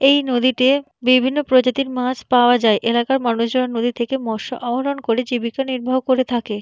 এই নদীতে বিভিন্ন প্রজাতির মাছ পাওয়া যায় এলাকার মানুষজন নদী থেকে মৎস আহরন করে জীবিকা নির্বাহন করে থাকে।